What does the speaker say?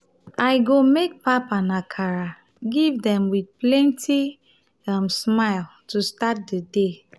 i go make pap and akara give dem with plenty um smile to start di day.